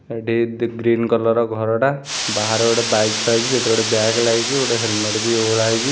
ଏଠି the green colour ର ଘରଟା ବାହାରେ ଗୋଟେ ବାଇକ୍‌ ଥୁଆ ହେଇଛି ସେଥିରେ ଗୋଟେ ବ୍ୟାଗ ଲାଗିଛି ଗୋଟେ ହେଲମେଟ୍‌ ଓହଳା ହେଇଛି ।